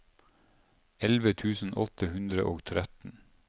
elleve tusen åtte hundre og tretten